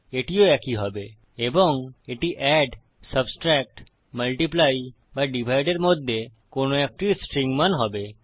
এটিও একই হবে এবং এটি এড সাবট্রাক্ট মাল্টিপ্লাই বা ডিভাইড এর মধ্যে কোনো একটির স্ট্রিং মান হবে